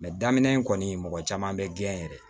daminɛ in kɔni mɔgɔ caman bɛ gɛn yɛrɛ